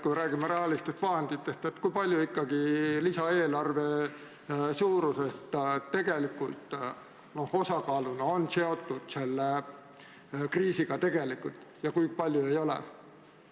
kui räägime rahalistest vahenditest, siis kui suur osa sellest lisaeelarvest on tegelikult seotud selle kriisiga ja kui palju ei ole?